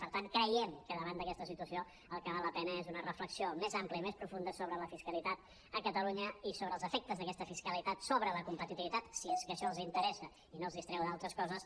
per tant creiem que davant d’aquesta situació el que val la pena és una reflexió més àmplia i més profunda sobre la fiscalitat a catalunya i sobre els efectes d’aques·ta fiscalitat sobre la competitivitat si és que això els interessa i no els distreu d’altres coses